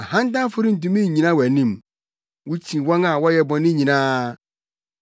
Ahantanfo rentumi nnyina wʼanim; wukyi wɔn a wɔyɛ bɔne nyinaa.